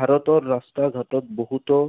ভাৰতৰ ৰাস্তা ঘাটত বহুতো